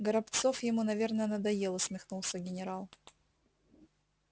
горобцов ему наверно надоел усмехнулся генерал